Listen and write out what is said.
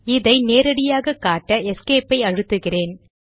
இதை நேரடியாக காட்ட எஸ்கேபைஅழுத்துகிறேன்